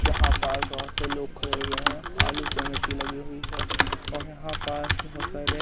यहाँ पर बहोत से लोग खड़े हुए हैं आलू पे मिट्टी लगी हुई हैं और यहाँ पार्क में बहोत सारे --